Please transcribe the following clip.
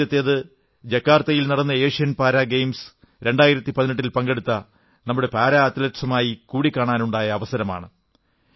ആദ്യത്തേത് ജക്കാർത്തയിൽ നടന്ന ഏഷ്യൻ പാരാ ഗെയിംസ് 2018 ൽ പങ്കെടുത്ത നമ്മുടെ പാരാ അത്ലറ്റ്കളുമായി കൂടികാണാനുണ്ടായ അവസരമാണ്